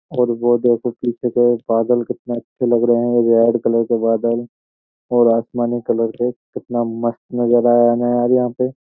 और वो देखो पीछे का एक बादल कितने अच्छे लग रहे हैं। रेड कलर के बादल और आसमानी कलर के। कितना मस्त नज़ारा है ना यार यहाँ पे।